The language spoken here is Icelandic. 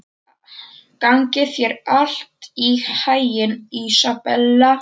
Gangi þér allt í haginn, Ísabella.